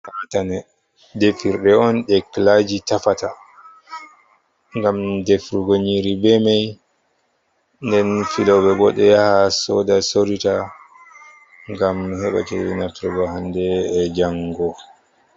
Katane defirɗe on, ɗe kilaaji tappata ngam defugo nyiiri be may. Nden filooɓe bo ɗo yaha sooda sorita ,ngam heɓa ceede naftirgo hande be janngo.